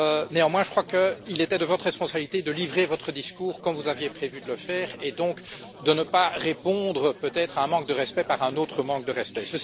Néanmoins, je crois qu'il était de votre responsabilité de livrer votre discours comme vous aviez prévu de le faire et donc de ne pas répondre à un manque de respect par un autre manque de respect.